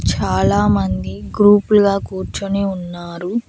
చాలా మంది గ్రూపులుగా కూర్చొని ఉన్నారు.